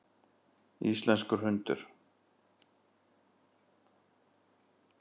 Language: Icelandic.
Íslenskur hundur.